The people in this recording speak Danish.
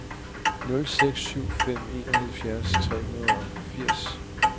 nul seks syv fem enoghalvfjerds tre hundrede og fireogfirs